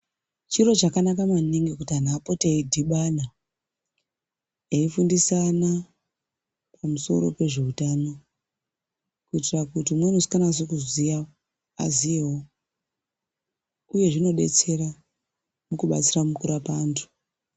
Chiro chakanaka maningi kuti anhu apote eidhibana eifundisana pamusoro pezveutano kuitira kuti umweni usikanasi kuziya aziyewo uye zvinodetsera mukurapa antu.